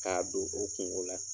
K'a don o kungo o la